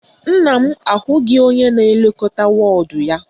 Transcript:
Nna m ahụghị onye na-elekọta wọọdụ ya